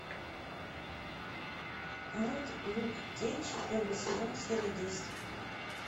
мульт люк кейдж первый сезон серия десять